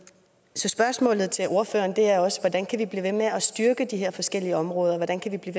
så spørgsmålet til ordføreren er også hvordan kan vi blive ved med at styrke de her forskellige områder hvordan kan vi blive